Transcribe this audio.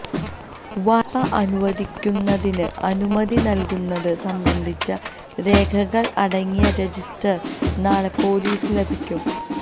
വായ്പ അനുവദിക്കുന്നതിന് അനുമതി നല്കുന്നത് സംബന്ധിച്ച രേഖകള് അടങ്ങിയ രജിസ്റ്റര് നാളെ പോലീസിന് ലഭിക്കും